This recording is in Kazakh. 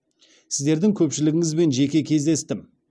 сіздердің көпшілігіңізбен жеке кездестім